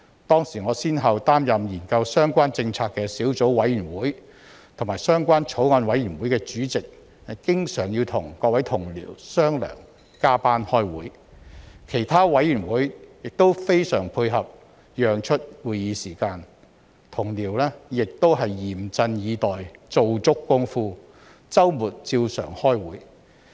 當時我先後擔任研究相關政策的小組委員會主席和相關法案委員會的主席，經常要與各位同僚商量加班開會；其他委員會亦非常配合，讓出會議時間；同僚亦嚴陣以待、做足工夫，周末照常開會。